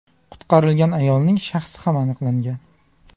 Qutqarilgan ayolning shaxsi ham aniqlangan.